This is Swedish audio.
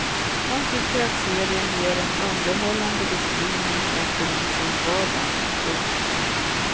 Han tycker att serien ger en underhållande beskrivning av polisens vardag. punkt